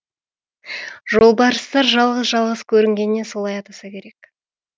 жолбарыстар жалғыз жалғыз көрінгеннен солай атаса керек